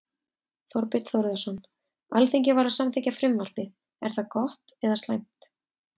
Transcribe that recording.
Þorbjörn Þórðarson: Alþingi var að samþykkja frumvarpið, er það gott eða slæmt?